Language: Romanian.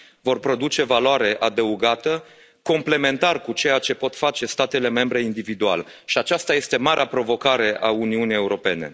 vor produce valoare adăugată, complementar cu ceea ce pot face statele membre individual, și aceasta este marea provocare a Uniunii Europene.